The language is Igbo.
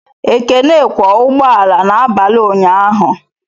Ekene kwọ ụgbọala n'abalị ụnyaahụ